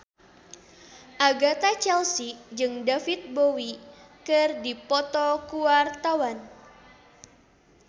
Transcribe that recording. Agatha Chelsea jeung David Bowie keur dipoto ku wartawan